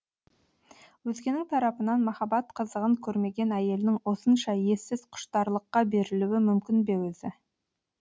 өзгенің тарапынан махаббат қызығын кермеген әйелдің осынша ессіз құштарлыққа берілуі мүмкін бе өзі